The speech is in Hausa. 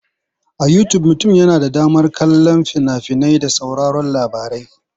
Ta Yutub mutum yana da damar kallon fina-finai da sauraron labarai.